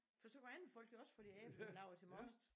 For så kunne andre folk jo også få deres æbler lavet til most